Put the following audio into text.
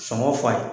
Sɔngɔ fa ye